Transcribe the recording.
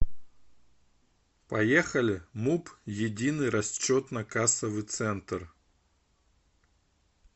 поехали муп единый расчетно кассовый центр